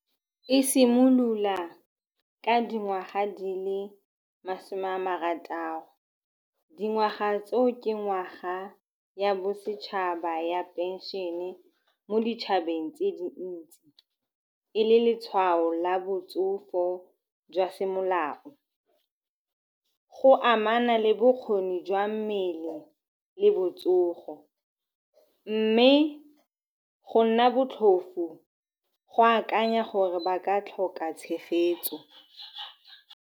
E simolola ka dingwaga di le masome a marataro. Dingwaga tseo ke ngwaga ya bosetšhaba ya pension-e mo ditšhabeng tse dintsi, e le letshwao la botsogo jwa semolao go amana le bokgoni jwa mmele le botsogo, mme go nna botlhofo go akanya gore ba ka tlhoka tshegetso.